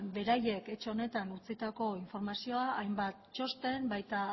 beraiek etxe honetan utzitako informazioa hainbat txosten eta baita